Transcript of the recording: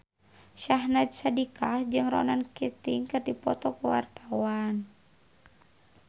Syahnaz Sadiqah jeung Ronan Keating keur dipoto ku wartawan